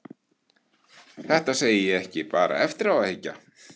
Þetta segi ég ekki bara eftir á að hyggja.